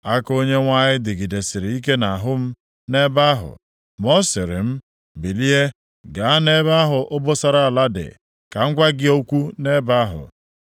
Aka Onyenwe anyị dịgidesịrị ike nʼahụ m nʼebe ahụ. Ma ọ sịrị m, “Bilie gaa nʼebe ahụ obosara ala dị ka m gwa gị okwu nʼebe ahụ,”